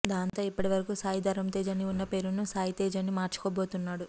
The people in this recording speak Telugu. దాంతో ఇప్పటి వరకు సాయి ధరమ్ తేజ్ అని ఉన్న పేరును సాయి తేజ్ అని మార్చుకోబోతున్నాడు